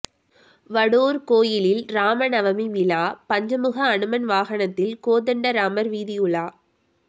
வடுவூர் கோயிலில் ராம நவமி விழா பஞ்சமுக அனுமன் வாகனத்தில் கோதண்ட ராமர் வீதியுலா